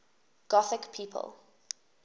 gothic people